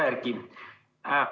Hea Erki!